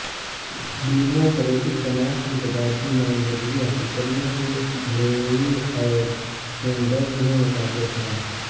democratic جماعت کی صدارتی نامزدگی حاصل کرنے کے ہلیری اور سینڈرز میں مقابلہ تھا